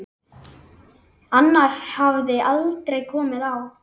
Annar hafði aldrei komið á